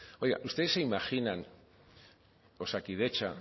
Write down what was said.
oiga ustedes se imaginan osakidetza